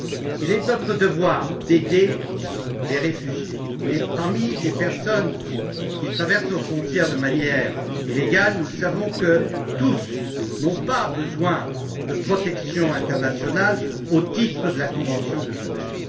Il est de notre devoir d'aider les réfugiés, mais parmi les personnes qui traversent nos frontières de manière illégale, nous savons que toutes n'ont pas besoin d'une protection internationale au titre de la convention de Genève.